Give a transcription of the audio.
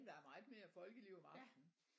Der er meget mere folkeliv om aftenen